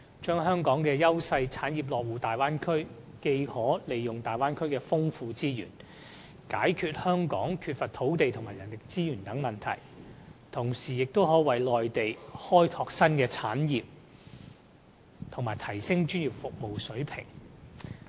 香港的優勢產業落戶大灣區後，既可利用大灣區的豐富資源解決香港缺乏土地和人力資源等問題，同時，也亦能夠為內地開拓新的產業，以及提升專業服務水平。